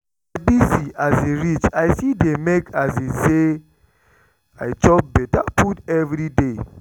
as i busy um reach i still dey make um say i chop better food every day